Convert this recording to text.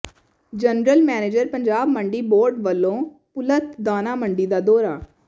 general manager Punjab Mandi board ਵਲੋਂ ਭੁਲੱਥ ਦਾਣਾ ਮੰਡੀ ਦਾ ਦੌਰਾ